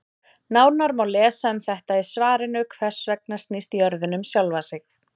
Nánar má lesa um þetta í svarinu Hvers vegna snýst jörðin um sjálfa sig?